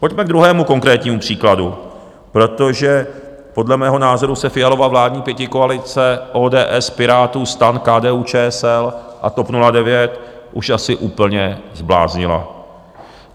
Pojďme k druhému konkrétnímu příkladu, protože podle mého názoru se Fialova vládní pětikoalice, ODS, Pirátů, STAN, KDU-ČSL a TOP 09, už asi úplně zbláznila.